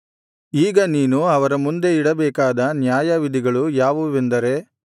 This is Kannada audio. ಈಗ ನೀನು ಅವರ ಮುಂದೆ ಇಡಬೇಕಾದ ನ್ಯಾಯವಿಧಿಗಳು ಯಾವುದೆಂದರೆ